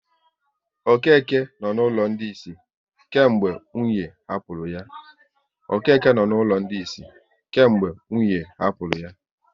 Okeke nọ n'ụlọ ndị isi kemgbe nwunye hapụrụ ya